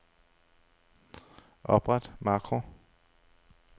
Opret makro.